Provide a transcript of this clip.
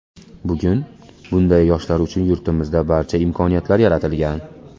Bugun bunday yoshlar uchun yurtimizda barcha imkoniyatlar yaratilgan.